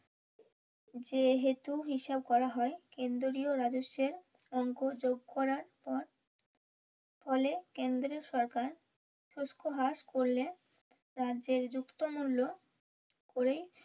যেহুতু হিসেব করা হয় কেন্দ্রীয় রাজস্বে অংক যোগ করার পর ফলে কেন্দ্রীয় সরকার শুস্ক হ্রাস করলে রাজ্যের যুক্ত মূল্য করে